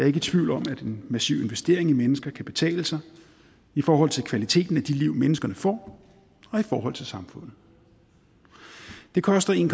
ikke i tvivl om at en massiv investering i mennesker kan betale sig i forhold til kvaliteten af de liv menneskene får og i forhold til samfundet det koster en